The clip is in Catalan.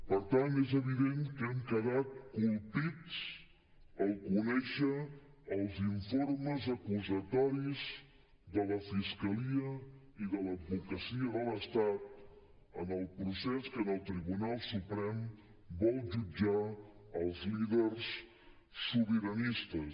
per tant és evident que hem quedat colpits al conèixer els informes acusatoris de la fiscalia i de l’advocacia de l’estat en el procés que en el tribunal suprem vol jutjar els líders sobiranistes